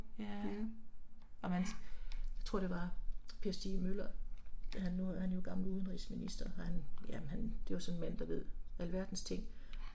Ja. Ja